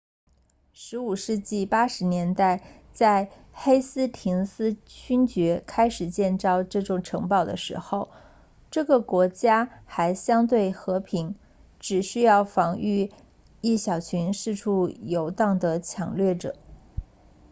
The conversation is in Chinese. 15世纪80年代在黑斯廷斯勋爵 lord hastings 开始建造这座城堡的时候这个国家还相对和平只需要防御一小群四处游荡的抢掠者